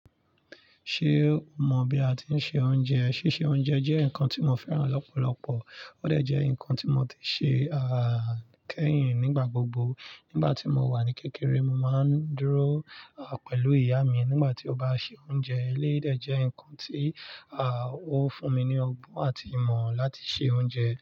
Ṣé o mọ̀ bí a ti ń se oúnjẹ? Síse oúnjẹ jẹ́ nǹkan tí mo fẹ́ràn lọ́pọ̀lọpọ̀. Ó dẹ̀ jẹ́ nǹkan ti mo ti ń ṣe a kẹ́yìn nígbà gbogbo. Nígbà tí mo wà ní kékeré, mo máa ń dúró pẹ̀lú ìyá mi nígbà tí ó bá ń se oúnjẹ. Eleyii dẹ̀ jẹ́ nǹkan tí ó fún mi ní ọgbọ́n àti ìmọ̀ láti se oúnjẹ.